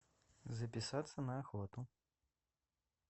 записаться на охоту